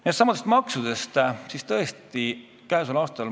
Nendestsamadest maksudest.